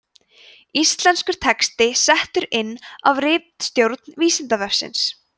íslenskur texti settur inn af ritstjórn vísindavefsins